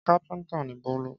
Kápẹ́ńtà ni Bólú.